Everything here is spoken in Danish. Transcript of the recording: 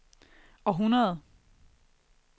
århundrede